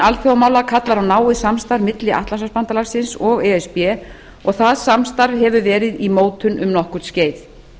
alþjóðamála kallar á náið samstarf milli atlantshafsbandalagsins og e s b og það samstarf hefur verið í mótun um nokkurt skeið